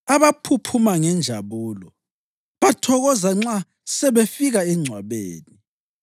abaphuphuma ngenjabulo bathokoza nxa sebefika engcwabeni?